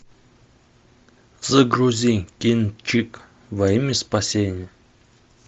загрузи кинчик во имя спасения